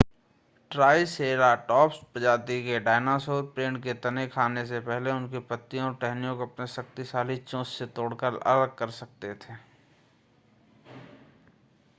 triceratops प्रजाति के dinosaur पेड़ के तने खाने से पहले उनकी पत्तियों और टहनियों को अपनी शक्तिशाली चोंच से तोड़कर अलग कर सकते थे